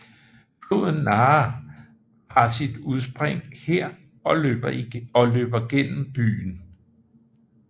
Floden Nahe har sit udspring her og løber gennem byen